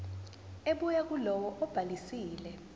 ebuya kulowo obhalisile